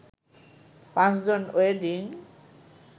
৫ জন ওয়েডিং